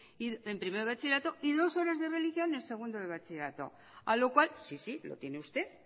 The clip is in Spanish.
bup en primero de bachillerato y dos horas de religión en segundo de bachillerato a lo cual sí sí lo tiene usted